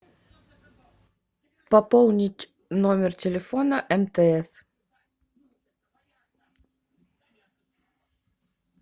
пополнить номер телефона мтс